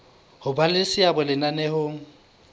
ho ba le seabo lenaneong